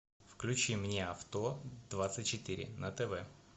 включи мне авто двадцать четыре на тв